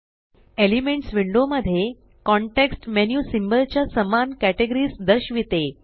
elements window मध्ये context menu symbol च्या समान केटेगरीस दर्शविते